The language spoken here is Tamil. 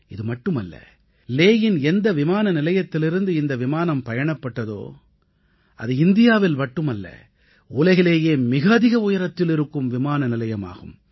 இதுமட்டுமல்ல லேயின் எந்த விமானநிலையத்திலிருந்து இந்த விமானம் பயணப்பட்டதோ அது இந்தியாவில் மட்டுமல்ல உலகிலேயே மிக அதிக உயரத்தில் இருக்கும் விமானநிலையமாகும்